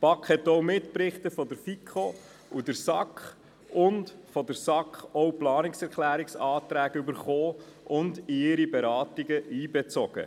Auch erhielt sie Mitberichte der FiKo und der SAK und von der SAK auch Planungserklärungsanträge und bezog sie in ihre Beratungen ein.